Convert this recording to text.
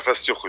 Nəfəs yox idi.